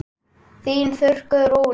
Þín Þuríður Rún.